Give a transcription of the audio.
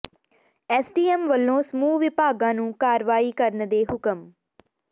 SDM ਵੱਲੋਂ ਸਮੂਹ ਵਿਭਾਗਾਂ ਨੂੰ ਕਾਰਵਾਈ ਕਰਨ ਦੇ ਹੁਕਮ